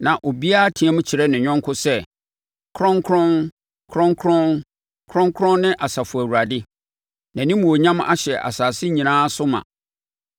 Na obiara team kyerɛ ne yɔnko sɛ, “Kronkron! Kronkron! Kronkron ne Asafo Awurade; Nʼanimuonyam ahyɛ asase nyinaa so ma!”